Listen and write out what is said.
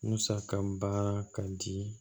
Musaka baara ka di